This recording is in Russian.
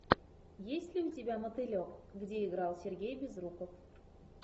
есть ли у тебя мотылек где играл сергей безруков